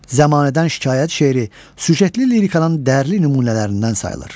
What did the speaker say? Zəmanədən şikayət şeiri süjetli lirikanın dərli nümunələrindən sayılır.